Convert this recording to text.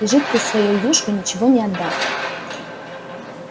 и жидкой своей юшкой ничего не отдал